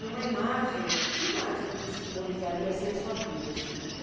Numa imagem, que imagem que simbolizaria assim a sua vida?